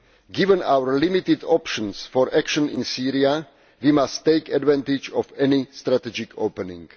Given our limited options for action in Syria, we must take advantage of any strategic opening.